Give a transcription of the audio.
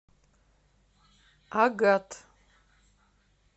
агат